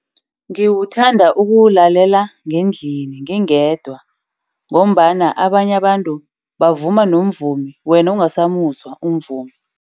Ngiwuthanda ukuwulalela ngendlini ngingedwa, ngombana abanye abantu bavuma nomvumi wena ungasamuzwa umvumi.